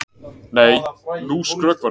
Nei, nú skrökvarðu!